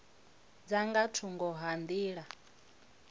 dza nga thungo ha nḓila